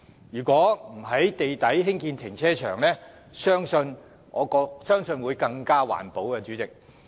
如不在地底興建停車場，相信會更環保。